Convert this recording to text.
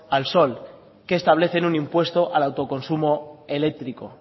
al sol que establecen un impuesto al autoconsumo eléctrico